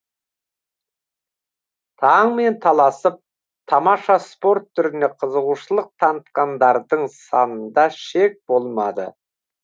таңмен таласып тамаша спорт түріне қызығушылық танытқандардың санында шек болмады